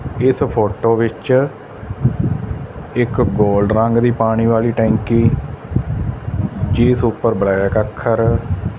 ਇਸ ਫ਼ੋਟੋ ਵਿੱਚ ਇੱਕ ਗੋਲਡ ਰੰਗ ਦੀ ਪਾਣੀ ਵਾਲੀ ਟੈਂਕੀ ਜਿਸ ਉੱਪਰ ਬਲੈਕ ਅੱਖਰ--